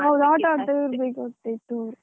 ಹೌದು ಆಟ ಆಡ್ತಾ ಇರ್ಬೇಕಾಗ್ತಿತ್ತು.